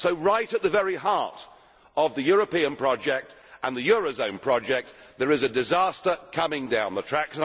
So right at the very heart of the European project and the eurozone project there is a disaster coming down the track.